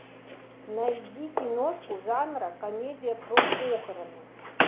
найди киношку жанра комедия про похороны